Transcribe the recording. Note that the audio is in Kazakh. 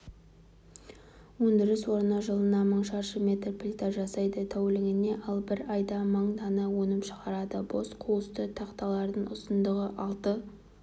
өндіріс орны жылына мың шаршы метр плита жасайды тәулігіне ал бір айда мың дана өнім шығарады бос қуысты тақталардың ұзындығы алты